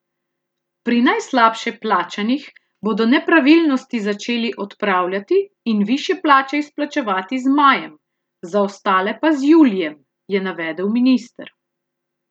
Pri najslabše plačanih bodo nepravilnosti začeli odpravljati in višje plače izplačevati z majem, za ostale pa z julijem, je navedel minister.